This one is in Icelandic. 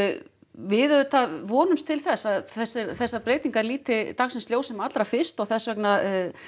við auðvitað vonumst til þess að þessar þessar breytingar líti dagsljós sem allra fyrst og þess vegna